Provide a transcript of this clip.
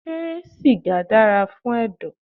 Ṣé sìgá dára fún ẹ̀dọ̀.?